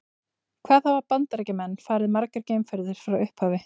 Hvað hafa Bandaríkjamenn farið margar geimferðir frá upphafi?